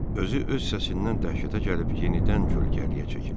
Özü öz səsindən dəhşətə gəlib yenidən kölgəliyə çəkildi.